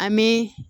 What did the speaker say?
An bɛ